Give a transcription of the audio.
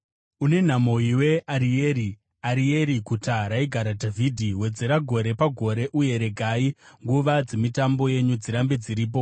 Une nhamo iwe Arieri, Arieri, guta raigara Dhavhidhi! Wedzera gore pagore; uye regai nguva dzemitambo yenyu dzirambe dziripo.